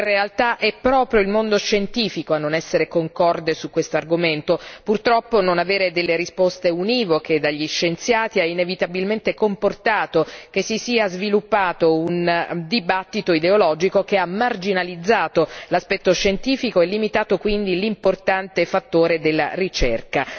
In realtà è proprio il mondo scientifico a non essere concorde su questo argomento purtroppo non avere risposte univoche dagli scienziati ha inevitabilmente comportato che si sia sviluppato un dibattito ideologico, che ha marginalizzato l'aspetto scientifico e limitato quindi l'importante fattore della ricerca.